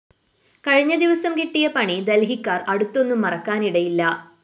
കഴിഞ്ഞ ദിവസം കിട്ടിയ പണി ദല്‍ഹിക്കാര്‍ അടുത്തൊന്നും മറക്കാനിടയില്ല